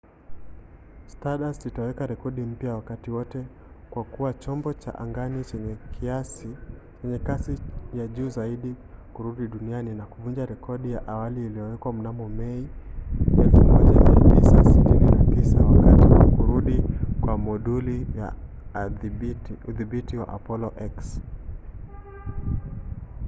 stardust itaweka rekodi mpya ya wakati wote kwa kuwa chombo cha angani chenye kasi ya juu zaidi kurudi duniani na kuvunja rekodi ya awali iliyowekwa mnamo mai 1969 wakati wa kurudi kwa moduli ya udhibiti ya apollo x